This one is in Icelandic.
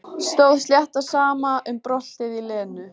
Stóð slétt á sama um bröltið í Lenu.